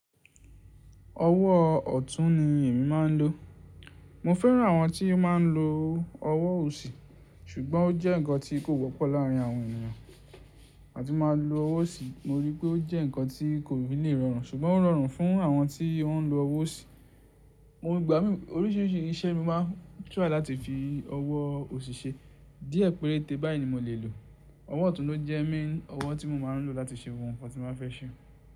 Ọwọ́ ọ̀tún ni èmi máa ń lò. Mo fẹ́ran àwọn tí máa ń lo ọwọ́ òsì, ṣùgbọ́n ó jẹ́ nǹkan tí kò wọ́pọ̀ láàrín àwọn ènìyàn. Àti máa lo ọwọ́ òsì, mo rí i pé ó jẹ́ nǹkan tí kò lè rọrùn, ṣùgbọ́n ó rọrùn fún àwọn tí wọ́n ń lo ọwọ́ òsì. Mo gba oríṣìíríṣìí iṣẹ́ mi máa ń tirai láti fi ọwọ́ òsì ṣe. Díẹ̀ péréte báyìí ni mo lè lò. Ọwọ́ ọ̀tún ló jẹ́ main ọwọ́ tí mo máa ń lò láti ṣe gbogbo ohun nǹkan tí mo bá fẹ́ se.